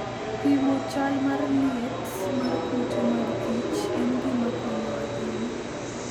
Pimo chal mar liet mar kute mag kich en gima konyo ahinya.